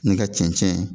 N'i ka cɛncɛn